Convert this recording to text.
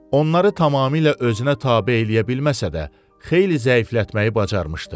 Onları tamamilə özünə tabe eləyə bilməsə də, xeyli zəiflətməyi bacarmışdı.